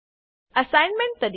assignment તરીકે